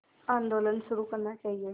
आंदोलन शुरू करना चाहिए